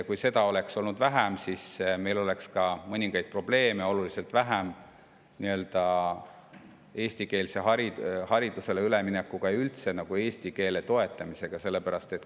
Kui seda oleks vähem olnud, siis meil oleks mõningaid probleeme eestikeelsele haridusele üleminekuga ja üldse nagu eesti keele toetamisega oluliselt vähem.